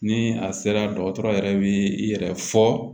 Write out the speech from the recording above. Ni a sera dɔgɔtɔrɔ yɛrɛ bɛ i yɛrɛ fɔ